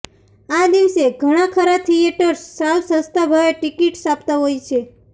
આ દિવસે ઘણાખરા થિયેટર્સ સાવ સસ્તા ભાવે ટિકિટ્સ આપતા હોય છે